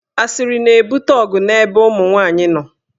Asịrị na-ebute ọgụ n'ebe ụmụnwaanyị nọ.